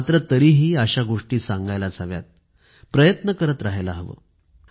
मात्र तरीही अशा गोष्टी सांगायला हव्यात प्रयत्न करत राहायला हवं